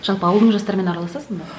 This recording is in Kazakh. жалпы ауылдың жастарымен араласасың ба